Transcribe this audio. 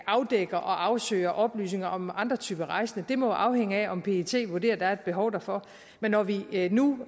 afdækker og afsøger oplysninger om andre typer rejsende det må afhænge af om pet vurderer at der er et behov derfor men når vi nu